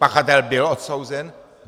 Pachatel byl odsouzen.